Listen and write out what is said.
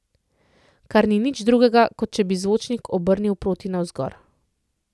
Kar ni nič drugega, kot če bi zvočnik obrnili proti navzgor.